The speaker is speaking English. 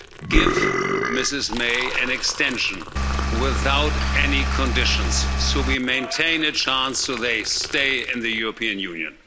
Give Mrs May an extension without any conditions so we maintain a chance that they stay in the European Union.